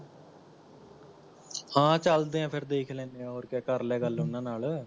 ਹਾਂ ਚੱਲਦੇ ਹਾ ਫ਼ੇਰ ਦੇਖ ਲੈਣੇ ਆ ਹੋਰ ਕਿਆ ਕਰ ਲੈ ਗੱਲ ਓਹਨਾਂ ਨਾਲ